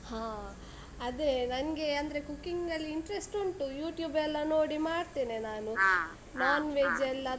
ಹಾ, ಅದೆ ನಂಗೆ ಅಂದ್ರೆ cooking ಅಲ್ಲಿ interest ಉಂಟು, YouTube ಎಲ್ಲ ನೋಡಿ ಮಾಡ್ತೇನೆ.